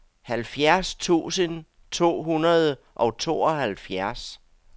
halvfjerds tusind to hundrede og tooghalvfjerds